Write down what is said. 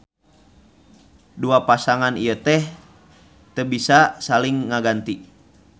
Dua pasangan ieu teu bisa saling ngaganti